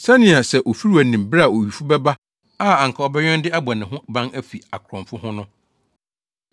Sɛnea sɛ ofiwura nim bere a owifo bɛba a anka ɔbɛwɛn de abɔ ne ho ban afi akorɔmfo ho no,